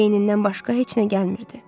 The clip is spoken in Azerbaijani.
Beynindən başqa heç nə gəlmirdi.